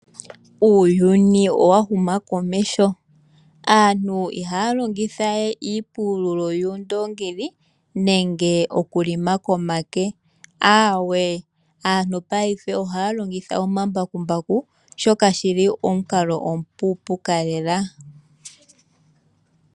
Uuyuni owa huma komeho. Aantu ihaa longitha wee iipululo yuundoongi nenge okulima komake aawe. Aantu paife ohaa longitha omambakumbaku shoka shili omukalo omu puupuka lela.